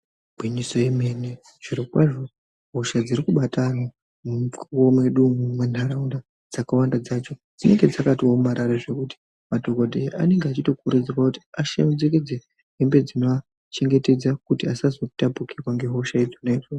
Igwinyiso yemene zvirokwazvo hosha dzirikubata ana mumukuwo mwedu umu, munharaunda dzakawanda dzacho dzinenge dzakaomarara zvokuti madhogodheya anenge achitokurudzirwa kuti acherechedze hembe dzinovachengetedza kuti asazotapukirwa ngehosha idzona idzodzo.